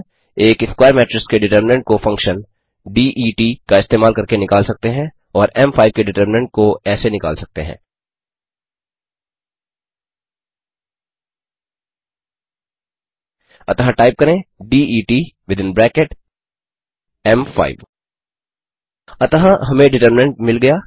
एक square matrix के determinant को फंक्शन det का इस्तेमाल करके निकाल सकते हैं और एम5 के डिटरमिंनट को ऐसे निकाल सकते हैं अतः टाइप करें डेट विथिन ब्रैकेट एम5 अतः हमें डिटरमिंनट मिल गया